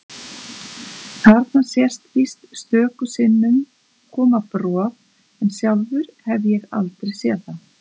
Þarna sést víst stöku sinnum koma brot en sjálfur hef ég aldrei séð það.